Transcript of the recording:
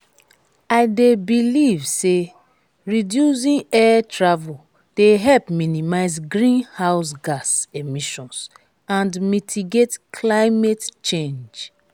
i dey believe say reducing air travel dey help minimize greenhouse gas emissions and mitigate climate change.